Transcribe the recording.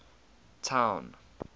town